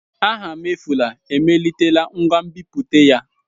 Afamefula emelitela ngwa nbiputa ya.